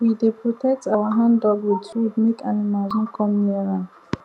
we dey protect our handdug with wood make animals no come near am